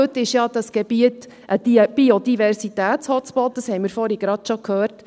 Heute ist dieses Gebiet ja ein Biodiversitäts-Hotspot, das haben wir vorhin gerade gehört.